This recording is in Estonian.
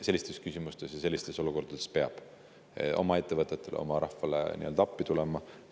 Sellistes küsimustes ja sellistes olukordades peab oma ettevõtetele, oma rahvale appi tulema.